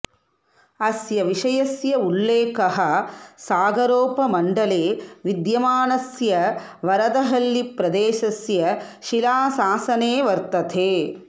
अस्य विषयस्य उल्लेखः सागरोपमण्डले विद्यमानस्य वरदहळ्ळि प्रदेशास्य शिलाशासने वर्तते